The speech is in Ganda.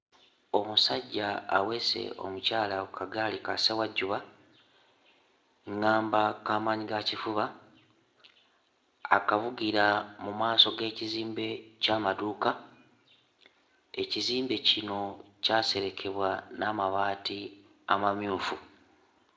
Omusajja aweese omukyala ku kagaali kassewajjuba, ŋŋamba kamaanyigakifuba. Akavugira mu maaso g'ekizimbe ky'amaduuka, ekizimbe kino kyaserekebwa n'amabaati amamyufu.